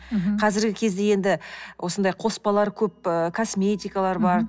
қазіргі кезде енді осындай қоспалар көп ыыы косметикалар бар